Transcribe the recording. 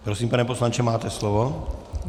Prosím, pane poslanče, máte slovo.